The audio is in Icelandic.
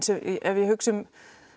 ef ég hugsa um